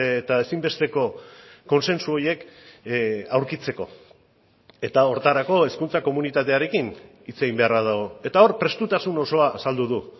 eta ezinbesteko kontsensu horiek aurkitzeko eta horretarako hezkuntza komunitatearekin hitz egin beharra dago eta hor prestutasun osoa azaldu du